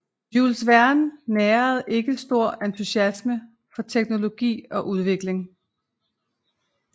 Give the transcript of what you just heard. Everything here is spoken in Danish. Jules Verne nærede ikke stor entusiasme for teknologi og udvikling